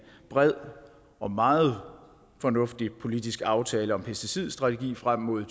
bred og meget fornuftig politisk aftale om pesticidstrategi frem mod